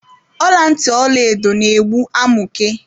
Ọla ntị Ọlaedo na egbu amụke.